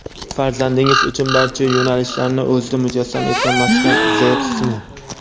Farzandingiz uchun barcha yo‘nalishlarni o‘zida mujassam etgan maskan izlayapsizmi?!.